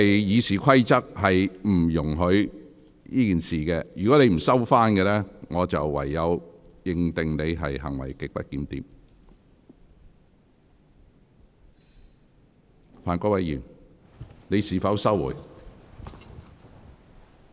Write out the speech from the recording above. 《議事規則》並不容許作出有關指控，如果你不收回這項指控，我會視之為行為極不檢點。